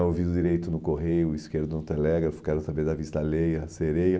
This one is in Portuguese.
O ouvido direito no Correio, o esquerdo no Telégrafo, quero saber da vista alheia, a sereia.